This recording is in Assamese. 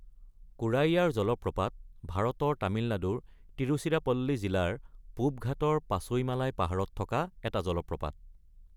কোৰাইয়াৰ জলপ্ৰপাত ভাৰতৰ তামিলনাডুৰ তিৰুচিৰাপল্লী জিলাৰ পূব ঘাটৰ পাচৈমালাই পাহাৰত থকা এটা জলপ্ৰপাত।